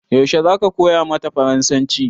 Yaushe zaka koya mata farasanci?